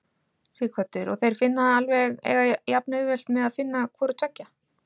Sighvatur: Og þeir finna alveg, eiga jafnauðvelt með að finna hvoru tveggja?